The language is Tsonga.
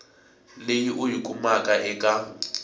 leyi u yi kumaka eka